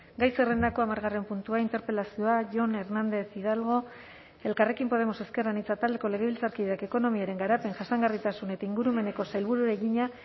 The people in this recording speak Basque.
gai zerrendako hamargarren puntua interpelazioa jon hernández hidalgo elkarrekin podemos ezker anitza taldeko legebiltzarkideak ekonomiaren garapen jasangarritasun eta ingurumeneko sailburuari egina